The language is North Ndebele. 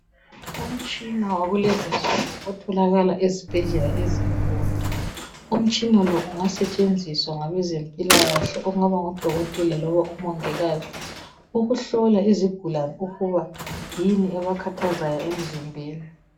Umtshina wakulezinsuku otholakala ezibhedlela ezinkulu, umtshina lo ungasetshenziswa ngabe zempilakahle okungaba ngudokotela loba umongikazi ukuhlola izigulani ukuba yini ebakhathazayo emzimbeni.